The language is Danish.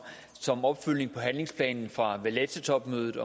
som opfølgning på handlingsplanen fra topmødet